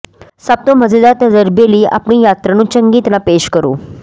ਸਭ ਤੋਂ ਮਜ਼ੇਦਾਰ ਤਜਰਬੇ ਲਈ ਆਪਣੀ ਯਾਤਰਾ ਨੂੰ ਚੰਗੀ ਤਰ੍ਹਾਂ ਪੇਸ਼ ਕਰੋ